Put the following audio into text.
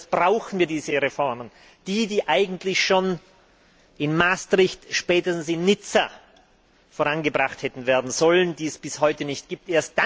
Zuerst brauchen wir diese Reformen, die, die eigentlich schon in Maastricht, spätestens in Nizza vorangebracht hätten werden sollen, und die es bis heute nicht gibt.